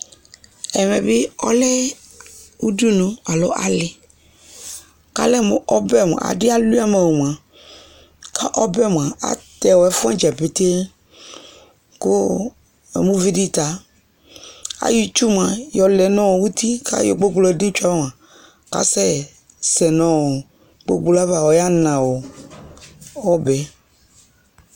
Ɛvɛ bɩ ɔlɛ udunu alo alɩ kʋ ɔlɛ mʋ ɔbɛ mʋa, adɩ alʋɩa mʋ ɔ mʋa, kʋ ɔbɛ mʋa atɛ ɛfʋ wanɩ dza petee kʋ namʋ uvi dɩ ta ayɔ itsu mʋa, yɔlɛ nʋ uti kʋ ayɔ gbogblo dʋ itsu yɛ ava kʋ asɛsɛ nʋ ɔ gbogblo yɛ ava, ɔyana ɔbɛ